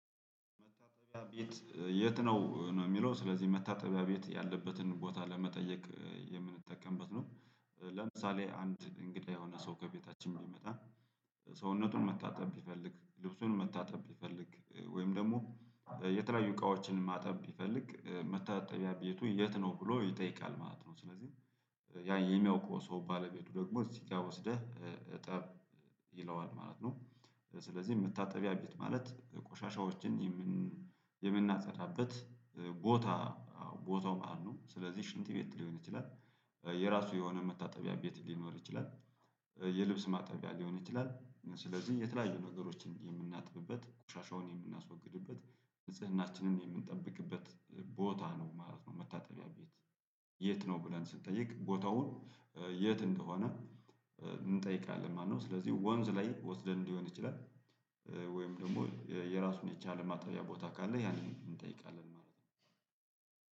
መታጠቢያ ቤት የት ነው ነው የሚለው ስለዚህ መታጠቢያ ቤት ያለበትን ቦታ ለመጠየቅ የምንጠቀምበት ነው። ለምሳሌ አንድ እንግዳ የሆነ ሰው ከቤታችን ቢመጣ ሰውነቱን መታጠብ ቢፈልግ ልብሱን መታጠብ ቢፈልግ ወይም ደግሞ የተለያዩ እቃዎችን ማጠብ ቢፈልግ መታጠቢያ ቤቱ የት ነው ብሎ ይጠይቃል ማለት ነው። ስለዚህ ያ የሚያውቀው ሰው ባለቤቱ ደግሞ እዚህ ጋር ወስደህ እጠብ ይለዋል ማለት ነው። ስለዚህ መታጠቢያ ቤት ማለት ቆሻሻዎችን የምናጸዳበት ቦታ ቦታው ማለት ነው። ስለዚህ ሽንት ቤት ሊሆን ይችላል። የራሱ የሆነ መታጠቢያ ቤት ሊኖር ይችላል። የልብስ ማጠቢያ ሊሆን ይችላል ስለዚህ የተለያዩ ነገሮችን የምናጥብበት ቆሻሻውን የምናስወግድበት ንጽህናችንን የምንጠብቅበት ቦታ ነው ማለት ነው። መታጠቢያ ቤት? የት ነው ብለን ስንጠይቅ ቦታውን የት እንደሆነ እንጠይቃለን። ማነው ስለዚህ ወንዝ ላይ ወስደን ሊሆን ይችላል። ወይም ደግሞ የራሱን የቻለ ማጠቢያ ቦታ ካለ ያንን እንጠይቃለን ማለት ነው።